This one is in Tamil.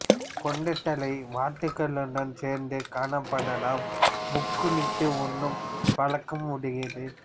கொண்டைத்தலை வாத்துகளுடன் சேர்ந்து காணப்படலாம் முக்குளித்து உண்ணும் வழக்கம் உடையது